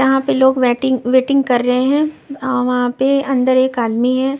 यहां पे लोग वैटिंग वेटिंग कर रहे हैं वहां पे अंदर एक आदमी है।